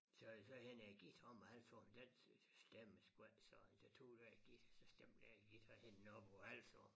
Så så hentede jeg guitaren men han sagde den stemmer sgu ikke så jeg tog den guitar så stemte jeg guitaren og hængte den op på æ hals og